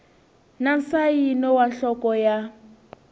na nsayino wa nhloko ya